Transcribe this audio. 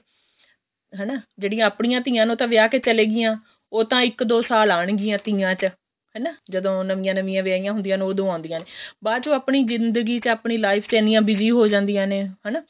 ਹਨਾ ਜਿਹੜੀਆਂ ਆਪਣੀਆ ਧੀਆਂ ਨੇ ਉਹ ਤਾਂ ਵਿਆਹ ਕੇ ਚਲੀਆਂ ਗਈਆਂ ਉਹ ਤਾਂ ਇੱਕ ਦੋ ਸਾਲ ਆਉਣਗੀਆਂ ਤੀਆਂ ਚ ਹਨਾ ਜਦੋ ਨਵੀਆਂ ਨਵੀਆਂ ਵਿਆਹੀਆਂ ਹੁੰਦੀਆਂ ਨੇ ਓਦੋਂ ਆਉਂਦੀਆਂ ਨੇ ਬਾਅਦ ਚ ਆਪਣੀ ਜਿੰਦਗੀ ਚ ਆਪਣੀ life ਚ ਇੰਨੀਆਂ busy ਹ ਜਾਂਦੀਆਂ ਨੇ ਹਨਾ